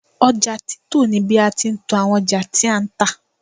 oja tito ni bi a ti n to awon oja ti a n ta